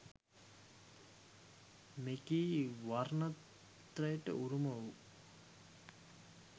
මෙකී වර්ණත්‍රයට උරුම වූ